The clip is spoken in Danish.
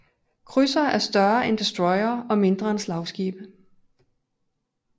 Krydsere er større end destroyere og mindre end slagskibe